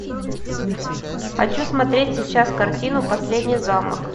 хочу смотреть сейчас картину последний замок